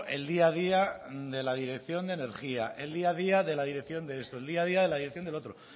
el día a día de la dirección de energía el día a día de la dirección de esto el día a día de la dirección de lo otro